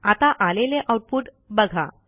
आता आलेले आऊटपुट बघा